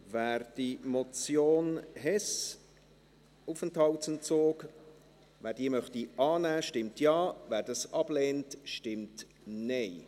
Wer die Motion Hess, Aufenthaltsentzug, annehmen möchte, stimmt Ja, wer dies ablehnt, stimmt Nein.